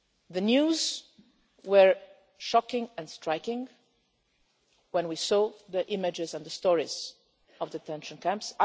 The news was shocking and striking when we saw the images and the stories from the detention camps.